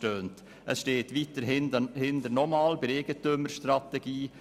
Weiter steht bei der Eigentümerstrategie: